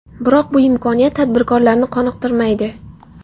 Biroq bu imkoniyat tadbirkorlarni qoniqtirmaydi.